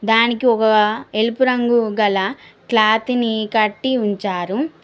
దానికి ఒక ఎరుపు రంగు గల క్లాత్ ని కట్టి ఉంచారు